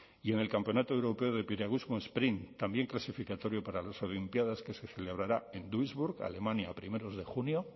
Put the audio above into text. y en el campeonato europeo de piragüismo sprint también clasificatorio para las olimpiadas que se celebrará en duisburg alemania a primeros de junio